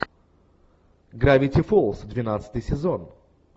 гравити фолз двенадцатый сезон